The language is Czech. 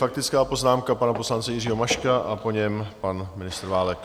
Faktická poznámka pana poslance Jiřího Maška a po něm pan ministr Válek.